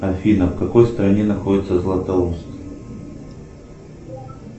афина в какой стране находится златоуст